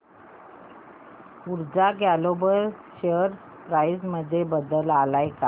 ऊर्जा global share price मध्ये बदल आलाय का